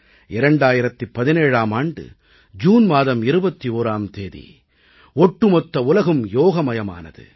2017ஆம் ஆண்டு ஜூன் மாதம் 21ஆம் தேதி ஒட்டுமொத்த உலகும் யோகமயமானது